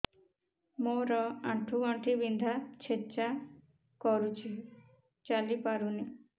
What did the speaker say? ମୋର ଆଣ୍ଠୁ ଗଣ୍ଠି ବିନ୍ଧା ଛେଚା କରୁଛି ଚାଲି ପାରୁନି